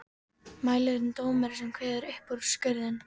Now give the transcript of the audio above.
Mælirinn dómari sem kveður upp úrskurðinn.